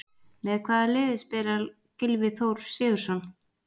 Með hvaða liði spilar Gylfi Þór Sigurðsson?